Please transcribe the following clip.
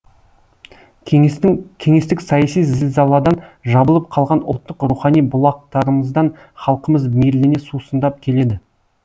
кеңестік саяси зілзаладан жабылып қалған ұлттық рухани бұлақтарымыздан халқымыз мейірлене сусындап келеді